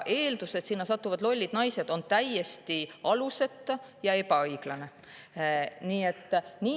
Eeldus, et sinna satuvad lollid naised, on täiesti alusetu ja ebaõiglane.